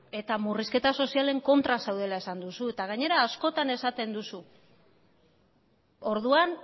eta murrizketa sozialen kontra zaudela esan duzu eta gainera askotan esaten duzu orduan